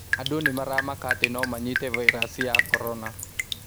Andũ nĩmaramaka atĩ nomanyite vairasi ya korona